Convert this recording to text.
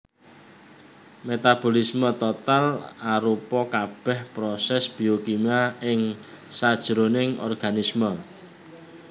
Metabolisme total arupa kabèh prosès biokimia ing sajroning organisme